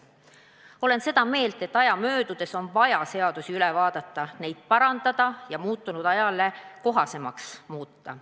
Olen seda meelt, et aja möödudes on vaja seadusi üle vaadata, neid parandada ja muutunud ajale kohasemaks muuta.